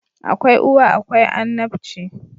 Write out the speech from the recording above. Akwai uwa akwai annabci